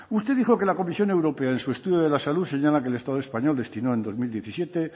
usted dijo que la comisión europea en su estudio de la salud señala que el estado español destinó en dos mil diecisiete